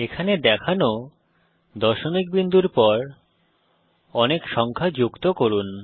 এখানে দেখানো দশমিক বিন্দুর পর অনেক সংখ্যা যুক্ত করুন